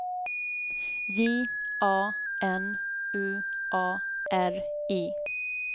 J A N U A R I